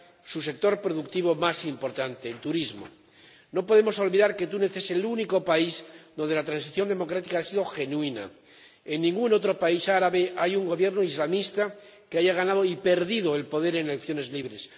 su sector productivo más importante, el turismo. No podemos olvidar que Túnez es el único país donde la transición democrática ha sido genuina en ningún otro país árabe hay un Gobierno islamista que haya ganado y perdido el poder en elecciones libres